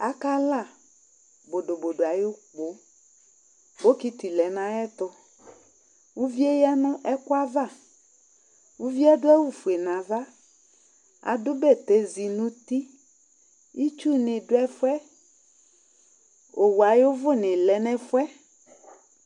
Akala bodobodo ayʋ ukpo Bokiti lɛ nʋ ayɛtʋ Uvi yɛ ya nʋ ɛkʋ ava Uvi yɛ adʋ awʋfue nʋ ava Adʋ bɛtɛzi nʋ uti Itsunɩ dʋ ɛfʋ yɛ Owu ayʋ ʋvʋnɩ lɛ nʋ ɛfʋ yɛ